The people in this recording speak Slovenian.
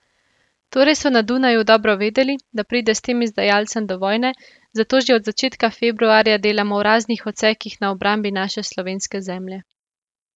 Torej so na Dunaju dobro vedeli, da pride s tem izdajalcem do vojne, zato že od začetka februarja delamo v raznih odsekih na obrambi naše slovenske zemlje.